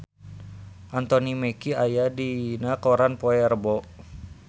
Anthony Mackie aya dina koran poe Rebo